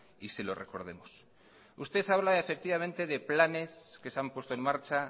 y se lo recordemos usted habla efectivamente de planes que se han puesto en marcha